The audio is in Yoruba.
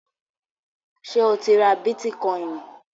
Ṣé o ti ra bítíkọìnì?